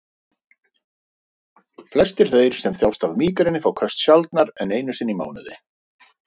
Hann er líka æfðari í að taka tvær og tvær tröppur í einu.